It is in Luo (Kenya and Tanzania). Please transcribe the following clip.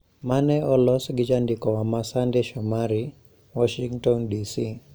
Ma ne olos gi jandikowa ma Sunday Shomari, Washington, DC.